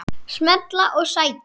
Smella og sækja.